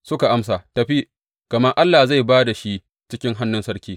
Suka amsa Tafi, gama Allah zai ba da shi cikin hannun sarki.